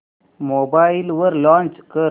mobile वर launch कर